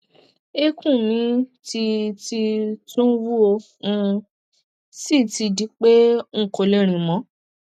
eékún mi ti ti tún wú ó um sì ti di pé n kò lè rín mọ